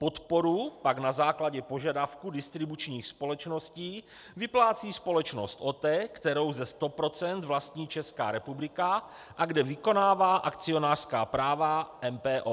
Podporu pak na základě požadavků distribučních společností vyplácí společnost OTE, kterou ze 100 % vlastní Česká republika a kde vykonává akcionářská práva MPO.